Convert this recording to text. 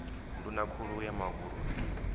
nduna khulu ya mavhuru i